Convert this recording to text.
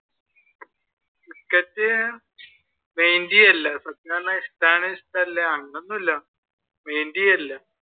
cricket വലിയ ഇല്ല ഇഷ്ടമാണ് ഇഷ്ടമില്ല അങ്ങനെ ഒന്നും ഇല്ല